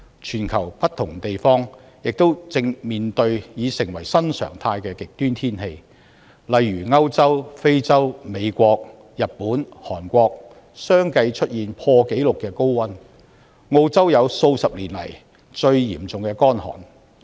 全球不同地方亦正面對已成為新常態的極端天氣，例如歐洲、非洲、美國、日本、韓國相繼出現破紀錄的高溫，澳洲經歷數十年來最嚴重的乾旱。